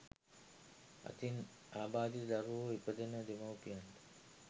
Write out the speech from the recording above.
ඉතින් අබාධිත දරුවෝ ඉපදෙන දෙමව්පියන්ට